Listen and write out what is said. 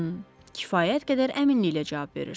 Xım, kifayət qədər əminliklə cavab verirsiz.